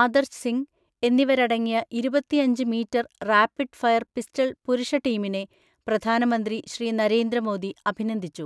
ആദർശ് സിംഗ് എന്നിവരടങ്ങിയ ഇരുപത്തിഅഞ്ച് metre rapid fire pistol പുരുഷ ടീമിനെ പ്രധാനമന്ത്രി ശ്രീ നരേന്ദ്ര മോദി അഭിനന്ദിച്ചു.